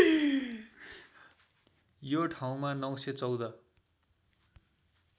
यो ठाउँमा ९१४